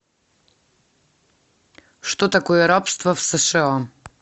что такое рабство в сша